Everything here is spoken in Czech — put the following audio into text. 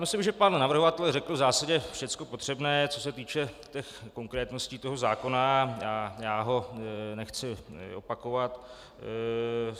Myslím, že pan navrhovatel řekl v zásadě všecko potřebné, co se týče konkrétností toho zákona, a já to nechci opakovat.